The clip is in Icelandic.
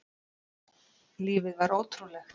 Lífið var ótrúlegt.